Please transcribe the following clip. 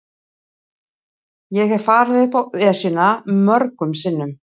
Ég hef farið upp Esjuna mörgum sinnum.